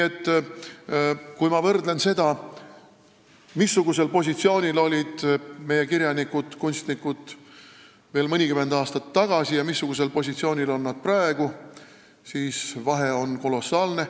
Aga kui ma võrdlen seda, missugusel positsioonil olid meie kirjanikud-kunstnikud veel mõnikümmend aastat tagasi ja missugusel positsioonil on nad praegu, siis vahe on kolossaalne.